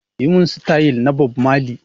Yi mun sitayil na Bob mali!